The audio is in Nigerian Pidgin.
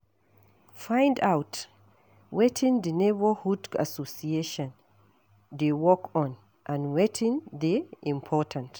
Find out wetin di neighbourhood association dey work on and wetin dey important